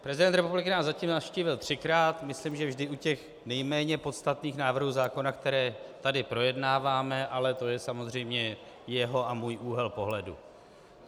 Prezident republiky nás zatím navštívil třikrát, myslím, že vždy u těch nejméně podstatných návrhů zákona, které tady projednáváme, ale to je samozřejmě jeho a můj úhel pohledu.